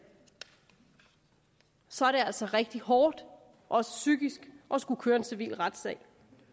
så er det altså rigtig hårdt også psykisk at skulle køre en civil retssag